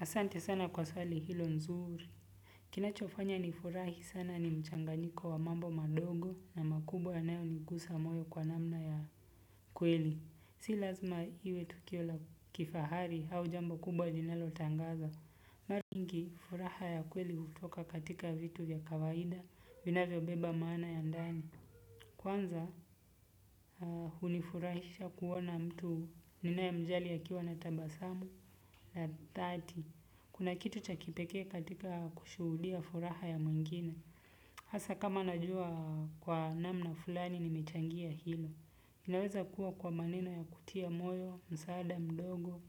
Asante sana kwa swali hilo nzuri. Kinachofanya nifurahi sana ni mchanganyiko wa mambo mandogo na makubwa yanayoniguza moyo kwa namna ya kweli. Si lazima iwe tukio la kifahari au jambo kubwa jinalotangaza. Mara nyingi furaha ya kweli hutoka katika vitu ya kawaida vinavyobeba maana ya ndani. Kwanza hunifurahisha kuona mtu ninaemjali akiwa na tabasamu la dhati. Kuna kitu cha kipekee katika kushuhudia furaha ya mwingine. Hasa kama najua kwa namna fulani nimechangia hili. Inaweza kuwa kwa maneno ya kutia moyo, msaada, mdogo,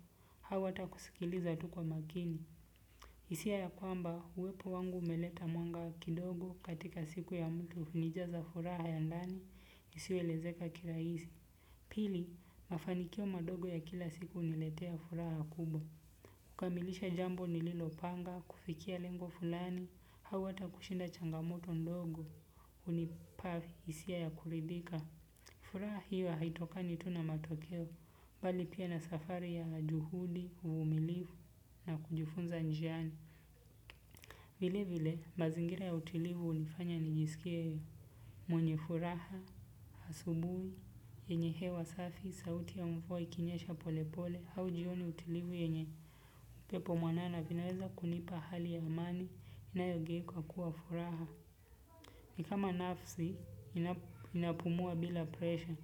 hau ata kusikiliza tu kwa makini. hIsia ya kwamba uwepo wangu umeleta mwanga kidogo katika siku ya mtu hunijaza furaha ya ndani, isiyoelezeka kirahisi. Pili, mafanikio madogo ya kila siku huniletea furaha kubwa. Kukamilisha jambo nililopanga, kufikia lengo fulani, hau ata kushinda changamoto ndogo, hunipa hisia ya kuridhika. Furaha hiyo haitokani tuh na matokeo mbali pia na safari ya juhudi uvumilivu na kujifunza njiani. Vile vile, mazingira ya utilivu hunifanya nijisikie. Mwenye furaha, asubui, yenye hewa safi, sauti ya mvua ikinyesha polepole, hau jioni utilivu yenye. Pepo mwanana vinaweza kunipa hali ya amani inayogei kwa kuwa furaha. Ni kama nafsi inapumua bila presha.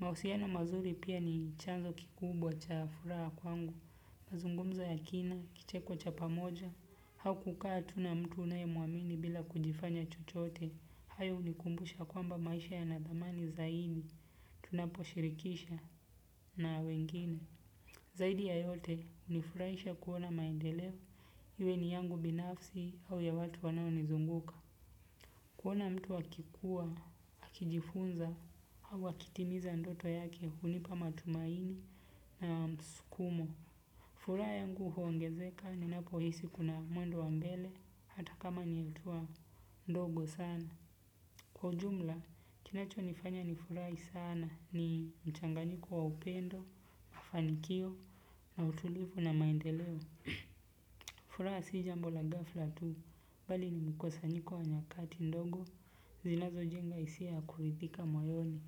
Mahusiano mazuri pia ni chanzo kikubwa cha furaha kwangu. Mazungumzo ya kina, kicheko cha pamoja. Hau kukaa tu na mtu unayemwamini bila kujifanya chochote. Hayo hunikumbusha kwamba maisha yana thamani zaini. Tunaposhirikisha na wengine. Zaidi ya yote hunifuranisha kuona maendeleo. Iwe ni yangu binafsi au ya watu wanaonizunguka kuona mtu akikua, akijifunza, au akitimiza ndoto yake hunipa matumaini na msukumo furaha yangu huongezeka ninapohisi kuna mwendo wa mbele hata kama ni hatua ndogo sana, kwa ujumla kinacho nifanya nifurahi sana ni mchanganyiko wa upendo, mafanikio, utulivu na maendeleo. Furaha si jambo la ghafla tu, bali ni mkusanyiko wa nyakati ndogo, zinazojenga hisia ya kuridhika moyoni.